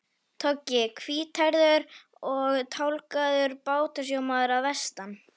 Toggi, hvíthærður og tálgaður bátasjómaður að vestan.